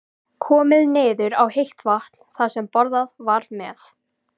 Komið niður á heitt vatn þar sem borað var með